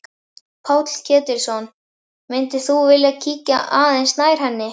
Páll Ketilsson: Myndir þú vilja kíkja aðeins nær henni?